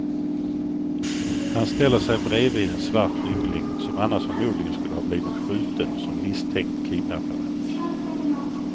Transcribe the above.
Han ställer sig bredvid en svart yngling, som annars förmodligen skulle ha blivit skjuten som misstänkt kidnappare.